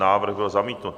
Návrh byl zamítnut.